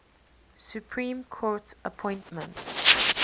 supreme court appointments